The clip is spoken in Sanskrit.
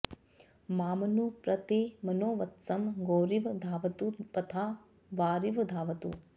मामनु प्र ते मनो वत्सं गौरिव धावतु पथा वारिव धावतु